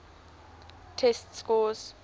test scores